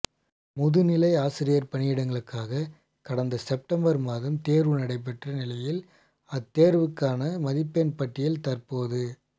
முதுநிலை ஆசிரியர் பணியிடங்களுக்காக கடந்த செப்டம்பர் மாதம் தேர்வு நடைபெற்ற நிலையில் அத்தேர்விற்கான மதிப்பெண் பட்டியல் தற்போது